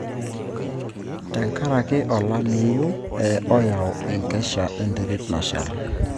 tenkaraki olameyu ,oyau enkesha enterit nashal.